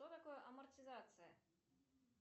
что такое амортизация